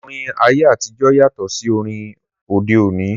Orin ayé àtijọ́ yàtọ̀ sí orin orin òde òní